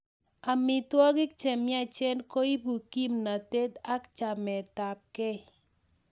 Amitwogik che miach koipu kimnatet ak chametapkei